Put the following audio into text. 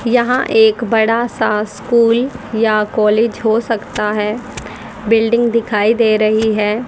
यहां एक बड़ा सा स्कूल या कॉलेज हो सकता है बिल्डिंग दिखाई दे रही है।